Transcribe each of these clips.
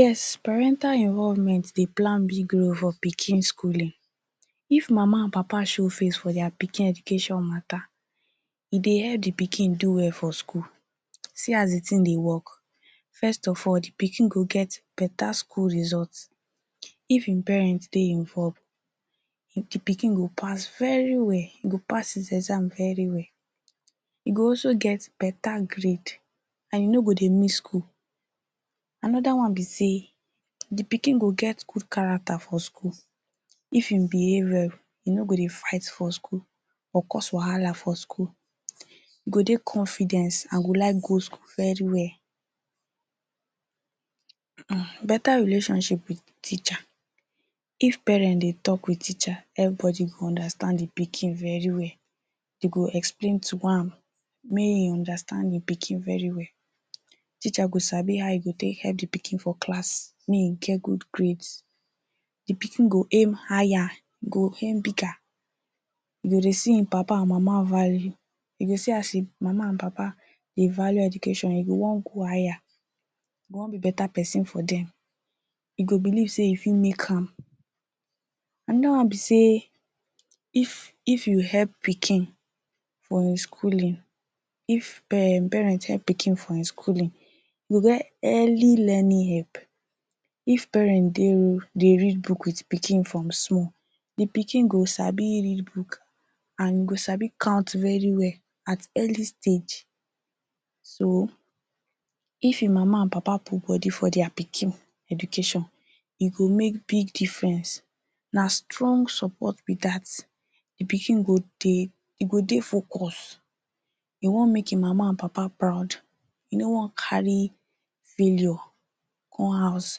Yes! parental involvement dey play big role for pikin schooling. if mama and papa show face for dia pikin education mata, e eye help de pikin do well for school. see as de tings dey work; first of all de pikin dey get beta school result if im parents dey involved. de pikin go pass very well. e go pass im exam very well. e go also get beta grade and e no go dey miss schoo. l anoda one be say de pikin go get good characters for school of im go behave well, im no go dey fight for school or cause wahala for you. e go get confidence and go like go school very well come beta relationships with teacher if parent dey talk with teacher, everybody go understand de pikin very well dey go explain to make im understand de pikin very well teacher go sabi how im go take help de pikin for class make im get good grades. de pikin go aim higher im go aim bigger; he go dey see im papa and mama value; he go dey see as im mama and papa dey value education, he go wan go higher, he go wan be beta person for dem. im go believe say if im fit make am. anoda one be say if you help pikin for schooling of parents help pikin for im schooling, he go get early learning help. if parent dey oh, dey read book with pikin form small de pkik go sabi read book and he go sabi count very well at early stage. so if im mama and papa put body for dia pikin education, e go make big difference. na strong support be dat. im pikin go dey dem go dey focus im wan make im mama and papa proud he no wan carry failure come house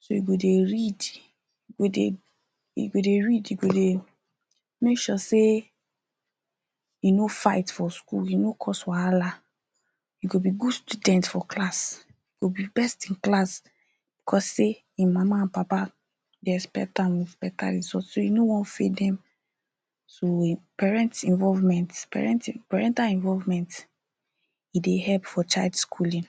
so e go dey read go dey read e go dey make sure sey, e no fight for school, e no go cause wahala, e go be good students for class e go be best in class cause say im mama and papa dey expect am with beta result, so he no wan fail dem. so parenting involvement parenting parental involvement go dey help for child schooling.